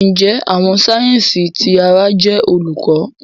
Njẹ Awọn sáyẹnsì ti àrà jẹ Olùkọ?